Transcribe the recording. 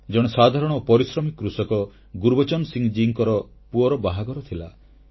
ଜଣେ ସାଧାରଣ ଓ ପରିଶ୍ରମୀ କୃଷକ ଗୁରବଚନ ସିଂହ ମହାଶୟଙ୍କ ପୁଅର ବାହାଘର ଥିଲା